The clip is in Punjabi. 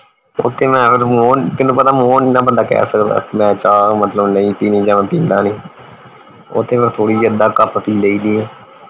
ਓਥੇ ਮੈਂ ਫੇਰ ਨੂੰ ਪਤਾ ਫੇਰ ਮੂੰਹੋਂ ਨਹੀਂ ਨਾ ਬੰਦਾ ਕਹਿ ਸਕਦਾ ਕਿ ਮੈਂ ਚਾ ਮਤਲਬ ਨਹੀਂ ਪੀਣੀ ਜਾ ਮੈਂ ਪੀਂਦਾ ਨਹੀਂ ਓਥੇ ਤੇ ਥੋੜੀ ਅੱਧਾ ਕੱਪ ਪੀ ਲਈ ਦੀ ਹੈ